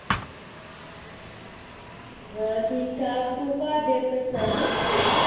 ਹਾਂ ਠੀਕ ਠਾਕ ਤੂੰ ਘਰਦੇ ਆਪਣਾ ਸੁਣਾ ਤੇਰਾ ਠੀਕ ਆ,